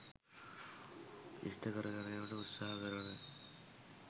ඉෂ්ඨ කරගැනීමට උත්සාහ කරන